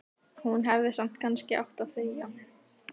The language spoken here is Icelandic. Hún hefði samt kannski átt að þegja.